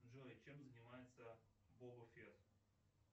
джой чем занимается боба фетт